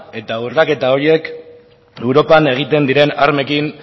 eta urraketa horiek europan egiten diren armekin